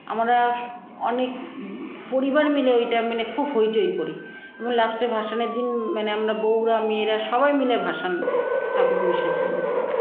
আমরা অনেক পরিবার মিলে ঐটা মানে খুব হইচই করি এবং last -ভাসানের দিন মানে আমরা বৌরা মেয়েরা সবাই মিলে ভাসান ঠাকুরকে বিসর্জন দিই